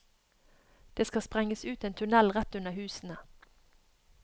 Det skal sprenges ut en tunnel rett under husene.